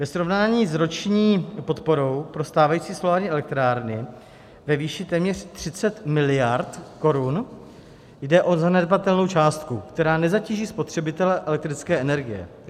Ve srovnání s roční podporou pro stávající solární elektrárny ve výši téměř 30 miliard korun jde o zanedbatelnou částku, která nezatíží spotřebitele elektrické energie.